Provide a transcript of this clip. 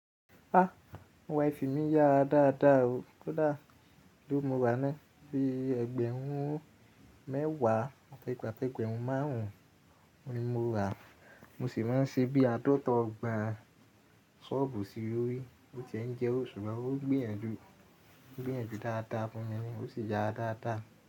Ah! Wifi mi yára dáadáa o. Kódà èló ni moràá ná. Bíi ẹgbẹ̀rún mẹ́wàá àti ẹ́gbẹ̀rún márùn-ún ni mo rà, mo sì máa ń ṣe bí aadọ́ta ọgbọ̀n sọ́ọ̀bù sí lórí. Ó ti ẹ̀ ń jẹ owo, ṣùgbọ́n ó gbìyànjú, ó gbìyànjú dáadáa fún mi ni ó sì yára dáadáa.